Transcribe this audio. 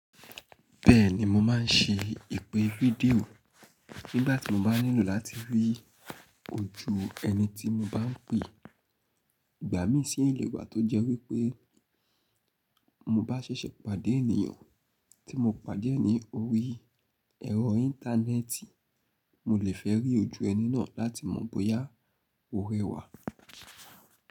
Bẹ́ẹ̀ni mo máa ń ṣe ìpè fídíò nígbàtí mo bá nílò láti rí ojú ẹni tí mo bá ń pè. Ìgbà mí sì le wà tó jẹ́ wípé mo bá ṣẹ̀ṣẹ̀ pàdé ènìyàn tí mo pàdé ẹ́ ní orí ẹ̀rọ Íńtánẹ́ẹ̀tì, mo le fẹ́ rí ojú ẹni náà láti mọ̀ bóyá ó rẹwà.